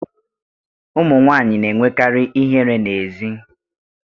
Ụmụ nwanyị na-enwekarị ihere n'èzí